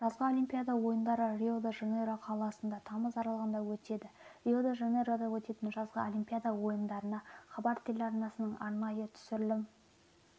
жазғы олимпиада ойындары рио-де-жанейро қаласында тамыз аралығында өтеді рио-де-жанейрода өтетін жазғы олимпиада ойындарына хабар телеарнасының арнайытүсірілім